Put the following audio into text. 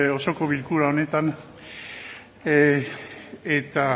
osoko bilkura honetan eta